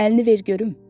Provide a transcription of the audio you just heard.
Əlini ver görüm.